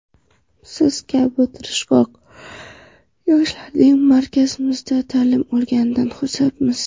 Siz kabi tirishqoq yoshlarning markazimizda ta’lim olganidan xursandmiz.